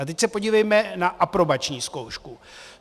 A teď se podívejme na aprobační zkoušku.